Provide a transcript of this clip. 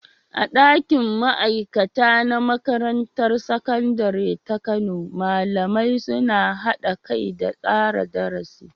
A ɗakin ma'aikata na Makarantar Sakandare ta Kano, malamai suna haɗa kai da tsara darasi